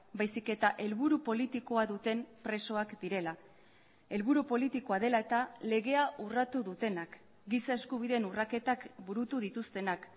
baizik eta helburu politikoa duten presoak direla helburu politikoa dela eta legea urratu dutenak giza eskubideen urraketak burutu dituztenak